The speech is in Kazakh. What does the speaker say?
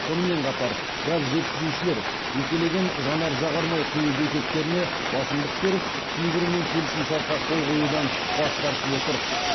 сонымен қатар газ жеткізушілер жекелеген жанар жағармай құю бекеттеріне басымдық беріп кейбірімен келісімшартқа қол қоюдан бас тартып отыр